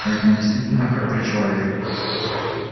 а ведь он действительно храбрый человек